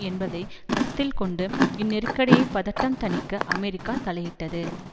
என்பதை கருத்தில் கொண்டு இந்நெருக்கடியை பதட்டம் தணிக்க அமெரிக்கா தலையிட்டது